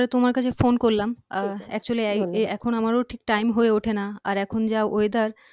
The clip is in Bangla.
তোমার কাছে ফোন করলাম আহ actually এখন আমারও ঠিক time হয়ে উঠে না আর এখন যা weather